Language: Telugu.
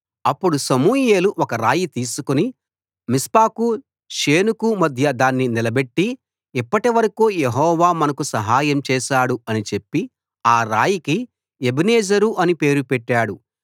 అప్పుడు సమూయేలు ఒక రాయి తీసుకుని మిస్పాకు షేనుకు మధ్య దాన్ని నిలబెట్టి ఇప్పటి వరకూ యెహోవా మనకు సహాయం చేశాడు అని చెప్పి ఆ రాయికి ఎబెనెజరు అని పేరు పెట్టాడు